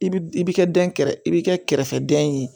I bi i bi kɛ dɛn i bi kɛ kɛrɛfɛden ye